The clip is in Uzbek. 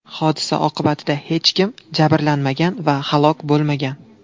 Hodisa oqibatida hech kim jabrlanmagan va halok bo‘lmagan.